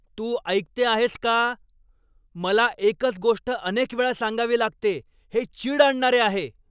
तू ऐकते आहेस का? मला एकच गोष्ट अनेक वेळा सांगावी लागते हे चीड आणणारे आहे.